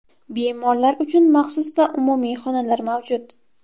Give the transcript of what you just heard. Bemorlar uchun maxsus va umumiy xonalar mavjud.